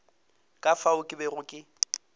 ka fao ke bego ke